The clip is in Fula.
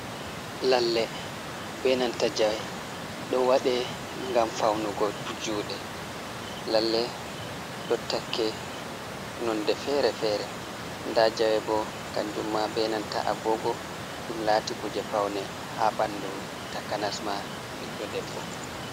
Lalle benanta jawe, do wade gam faunugo jude, lalle do takke nonde fere-fere da jawe bo kanjumma benanta agogo dum lati kuje faune ha bandu takanasma ɓiɗdo debbo.